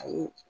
Ayi